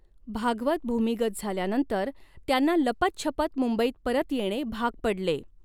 भागवत भूमिगत झाल्यावर त्यांना लपतछपत मुंबईत परत येणे भाग पडले.